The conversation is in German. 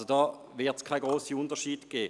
Da wird es keine grossen Unterschiede geben.